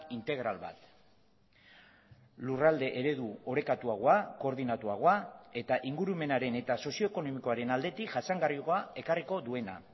integral bat lurralde eredu orekatuagoa koordinatuagoa eta ingurumenaren eta sozioekonomikoaren aldetik jasangarriagoa ekarriko duena